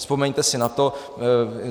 Vzpomeňte si na to.